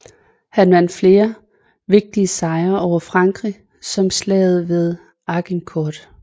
Han vandt flere vigtige sejre over Frankrig som slaget ved Agincourt